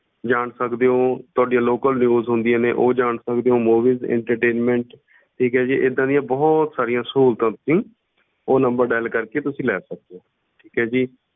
ਜਾਣ ਸਕਦੇ ਹੋ ਤੁਹਾਡੀਆਂ local ਹੁੰਦੀਆਂ ਨੇ ਉਹ ਜਾਣ ਸਕਦੇ ਹੋ movies entertainment ਠੀਕ ਹੈ ਜੀ ਏਦਾਂ ਦੀਆਂ ਬਹੁਤ ਸਾਰੀਆਂ ਸਹੂਲਤਾਂ ਤੁਸੀਂ ਉਹ number dial ਕਰਕੇ ਤੁਸੀਂ ਲੈ ਸਕਦੇ ਹੋ ਠੀਕ ਹੈ ਜੀ।